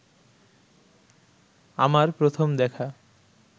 আমার প্রথম দেখা